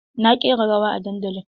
Na ƙi yin rawa a dandali.